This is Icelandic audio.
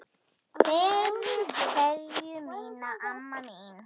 Berðu kveðju mína, amma mín.